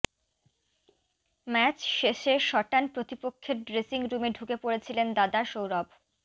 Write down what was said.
match শেষে সটান প্রতিপক্ষের ড্রেসিং রুমে ঢুকে পড়েছিলেন দাদা সৌরভ